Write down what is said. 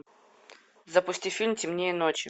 запусти фильм темнее ночи